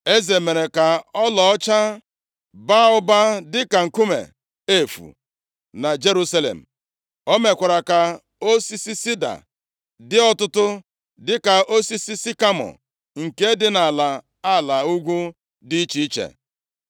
Eze mere ka ọlaọcha baa ụba dịka nkume efu na Jerusalem. O mekwara ka osisi sida dị ọtụtụ dịka osisi sikamọ nke dị nʼala ala ugwu dị iche iche.